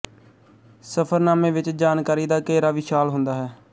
ਸਫ਼ਰਨਾਮੇ ਵਿੱਚ ਜਾਣਕਾਰੀ ਦਾ ਘੇਰਾ ਵਿਸ਼ਾਲ ਹੁੰਦਾ ਹੈ